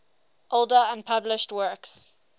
older unpublished works